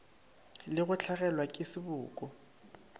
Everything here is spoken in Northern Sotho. le go hlagelwa ke seboko